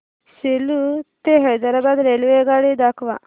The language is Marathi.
सेलू ते हैदराबाद रेल्वेगाडी दाखवा